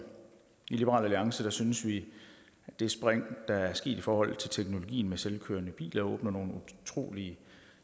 i liberal alliance synes vi at det spring der er sket i forhold til teknologien med selvkørende biler åbner nogle utrolig